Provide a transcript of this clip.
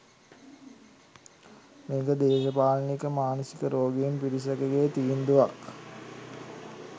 මේක දේශපාලනික මානසික රෝගීන් පිරිසකගේ තීන්දුවක්.